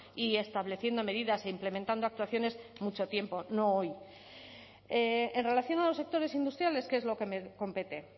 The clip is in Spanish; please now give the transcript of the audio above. y estableciendo medidas e implementando actuaciones mucho tiempo no hoy en relación a los sectores industriales qué es lo que me compete